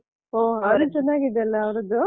ಹೊ ಅವರದ್ದು ಚೆನ್ನಾಗಿದೆಯಲ್ಲಾ ಅವ್ರದ್ದು.